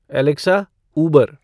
Alexa Uber